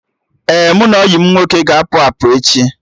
Ee, mụ na enyi m nwoke ga-apụ apụ echi